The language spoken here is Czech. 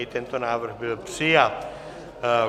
I tento návrh byl přijat.